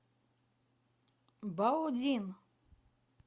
баодин